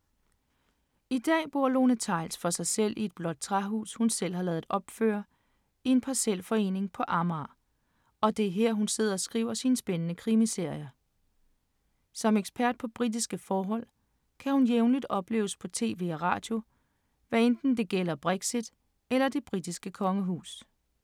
I dag bor Lone Theils for sig selv i et blåt træhus, hun selv har ladet opføre, i en parcelforening på Amager, og det er her, hun sidder og skriver sine spændende krimiserier. Som ekspert på britiske forhold, kan hun jævnligt opleves på tv og radio, hvad enten det gælder Brexit eller det britiske kongehus.